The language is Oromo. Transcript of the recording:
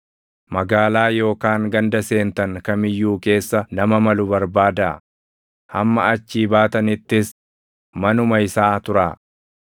Magaalaa yookaan ganda seentan kam iyyuu keessa nama malu barbaadaa; hamma achii baatanittis manuma isaa turaa.